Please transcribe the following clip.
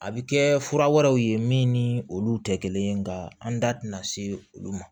A bɛ kɛ fura wɛrɛw ye min ni olu tɛ kelen ye nka an da tɛna se olu ma